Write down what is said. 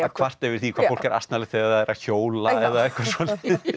kvarta yfir því hvað fólk er asnalegt þegar það er að hjóla eða eitthvað svoleiðis